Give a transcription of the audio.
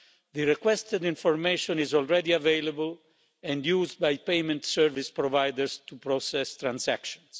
The requested information is already available and used by payment service providers to process transactions.